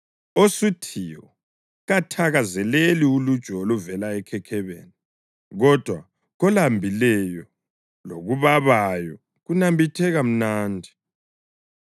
Osuthiyo kathakazeleli uluju oluvela ekhekhebeni, kodwa kolambileyo lokubabayo kunambitheka mnandi.